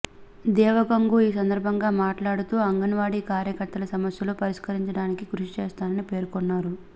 దేవగంగు ఈ సందర్బంగా మాట్లాడుతూ అంగన్వాడి కార్యకర్తల సమస్యల పరిష్కారానికి కృషి చేస్తానని పేర్కొన్నారు